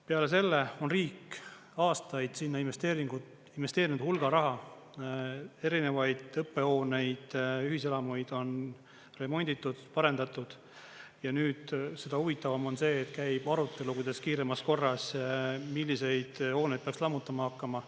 Peale selle on riik aastaid sinna investeerinud hulga raha, erinevaid õppehooneid, ühiselamuid on remonditud, parendatud, ja nüüd seda huvitavam on see, et käib arutelu, kuidas kiiremas korras, milliseid hooneid peaks lammutama hakkama.